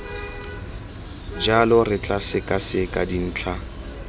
jalo re tla sekaseka dintlha